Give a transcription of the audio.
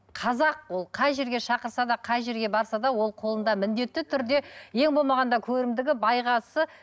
қазақ ол қай жерге шақырса да қай жерге барса да ол қолында міндетті түрде ең болмағанда көрімдігі байғазысы